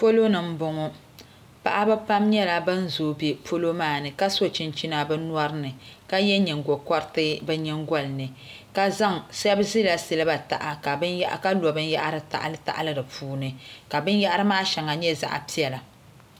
Polo ni n bɔŋɔ paɣaba pam nyɛla bin zooi bɛ polo maa ni ka so chinchina bi nyori ni ka yɛ nyingokoriti bi nyingoli ni shab ʒila siliba taha ka lo binyahari tahali tahali di puuni ka binyahari maa shɛli nyɛ zaɣ piɛla